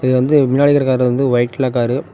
இது வந்து மின்னாடி இருக்கற கார் வந்து ஒய்ட் கலர் கார் .